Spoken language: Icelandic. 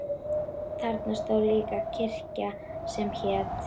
Þarna stóð líka kirkja sem hét